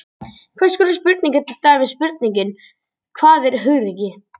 Hvers konar spurning er til dæmis spurningin Hvað er hugrekki?